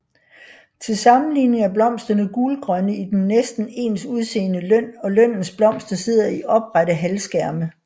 Til sammenligning er blomsterne gulgrønne i den næsten ens udseende løn og lønnens blomster sidder i oprette halvskærme